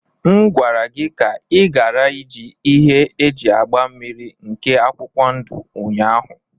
M gwara gị ka ị ghara iji ihe eji agba mmniri nke akwụkwọ ndụ ụnyahụ.